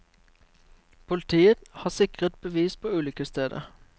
Politiet har sikret bevis på ulykkesstedet.